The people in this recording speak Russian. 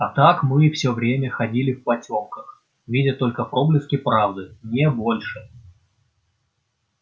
а так мы всё время ходили в потёмках видя только проблески правды не больше